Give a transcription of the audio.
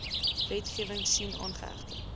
wetgewing sien aangehegte